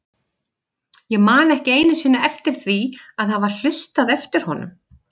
Ég man ekki einu sinni eftir því að hafa hlustað eftir honum.